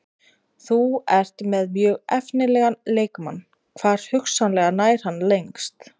Þú ert með mjög efnilegan leikmann, hvar hugsanlega nær hann lengst?